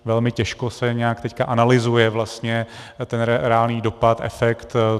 Velmi těžko se nějak teď analyzuje vlastně ten reálný dopad, efekt.